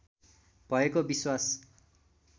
भएको विश्वास